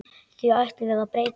Því ætlum við að breyta.